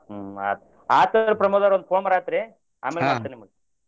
ಹ್ಮ್ ಆತ್ ಆತ್ ಅಲ್ರೀ ಪ್ರಮೋದ ಅವ್ರ ಒಂದ phone ಬರತೇತ್ರಿ ಆಮೇಲ್ ಮಾಡ್ತೇನ್ ನಿಮಿಗ್.